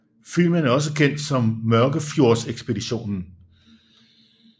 Filmen er også kendt som Mørkefjordsekspeditionen